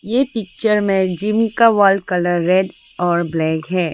ये पिक्चर में जिम का वॉल कलर रेड और ब्लैक है।